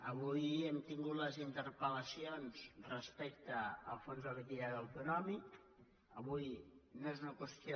avui hem tingut les interpel·lacions respecte al fons de liquiditat autonòmica avui no és una qüestió